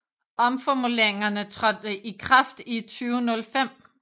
Omformuleringerne trådte i kraft i 2005